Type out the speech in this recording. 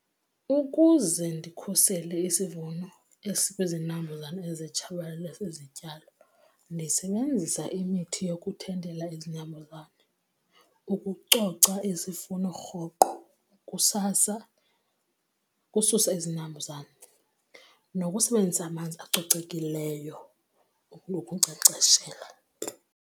Ukuze ndikhusele isivuno esikwizinambuzane ezitshabalalisa izityalo ndisebenzisa imithi yokuthintela izinambuzane, ukucoca isifuno rhoqo kusasa ukususa izinambuzane nokusebenzisa amanzi acocekileyo nokunkcenkceshela.